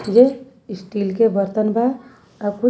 जे steel के बर्तन बा आउ कुछ--